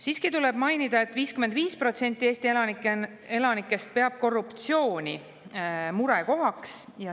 Siiski tuleb mainida, et 55% Eesti elanikest peab korruptsiooni murekohaks.